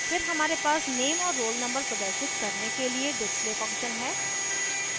फिर हमारे पास नेम और roll नंबर प्रदर्शित करने के लिए display function है